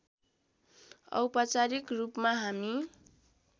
औपचारिक रूपमा हामी